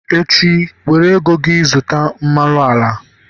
echi, were ego gi zụta mmanụ ala!